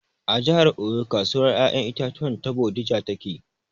A jihar Oyo kasuwar ƴaƴan itatuwan ta bodija take